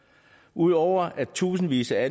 udover at tusindvis af